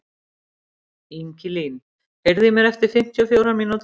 Ingilín, heyrðu í mér eftir fimmtíu og fjórar mínútur.